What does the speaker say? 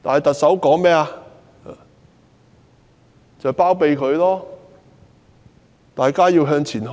特首包庇她，呼籲大家向前看。